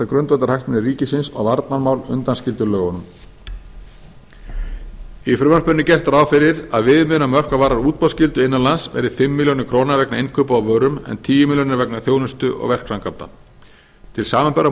grundvallarhagsmuni ríkisins og varnarmál undanskildir lögunum í frumvarpinu er gert ráð fyrir að viðmiðunarmörk hvað varðar útboðsskyldu innan lands verði fimm milljónir króna vegna innkaupa á vörum en tíu milljónir vegna þjónustu og verkframkvæmda til samanburðar má